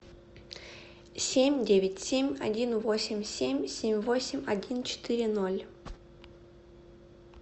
семь девять семь один восемь семь семь восемь один четыре ноль